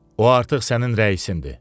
O artıq sənin rəisindir.